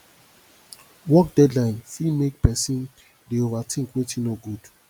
work deadline fit mek pesin dey overtink wetin no good